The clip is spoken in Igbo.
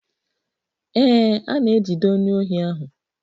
Ee, a na-ejide onye ohi ahụ.